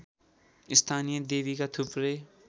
स्थानीय देवीका थुप्रै